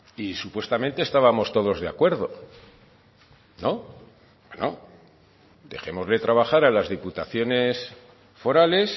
y supuestamente estábamos todos de acuerdo no dejémosles trabajar a las diputaciones forales